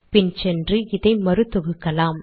பின் சென்று இதை மறு தொகுக்கலாம்